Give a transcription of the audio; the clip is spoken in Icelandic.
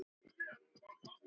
Við skulum koma okkur heim.